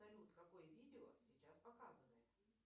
салют какое видео сейчас показывает